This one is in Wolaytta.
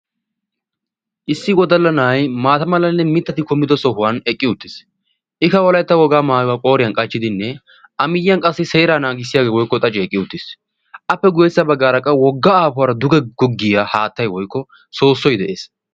Issi wodalla na'ayii maata malanne mittati kumi uttido sohan eqqi uttis ika wolaytta wogaa maayuwaa qooriyan qachchidinne a miyaan qassi seeraa nagissiyaagee wokko xaacee eqqi uttis appe guyessa bagaara qa wogga aafuwaara duge goggiyaa haattay woykko soossoy de'es.